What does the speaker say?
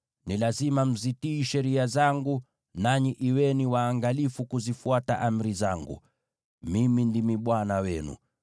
Ni lazima mzitii sheria zangu, na mwe waangalifu kuzifuata amri zangu. Mimi ndimi Bwana Mungu wenu.